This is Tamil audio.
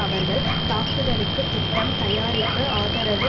அவர்கள் தாக்குதலுக்கு திட்டம் தயாரிப்பு ஆதரவு